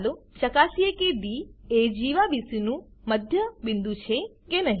ચાલો ચકાસીએ કે ડી એ જીવા બીસી નું મધ્ય બિંદુ છે કે નહી